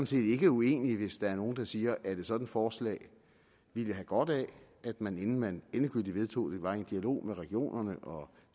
set ikke uenig hvis der er nogen der siger at et sådant forslag ville have godt af at man inden man endegyldigt vedtog det var i en dialog med regionerne og